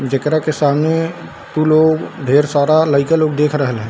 जेकरा के संगे तू लोग ढेर सारा लयका लोग देख रहल है।